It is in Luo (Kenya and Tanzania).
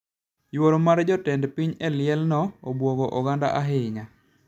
Yuoro mar jatend piny e liel no obuogo oganda ahinya